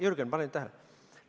Jürgen, pane nüüd tähele!